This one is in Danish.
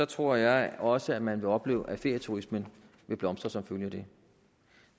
tror jeg også man vil opleve at ferieturismen vil blomstre som følge af det